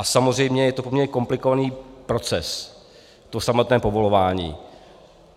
A samozřejmě je to poměrně komplikovaný proces, to samotné povolování.